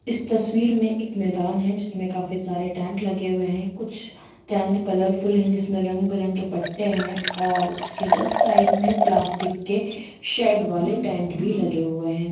इस तस्वीर में एक मैदान है जिसमे काफी सारे टेंट लगे हुई है कुछ टेंट कलरफुल है जिसमे रंग बिरंगे पट्टे है और उसके जस्ट साइड में प्लास्टिक के शेड वाले लगे हुई है।